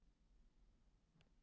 Segir Sigurður Ingi.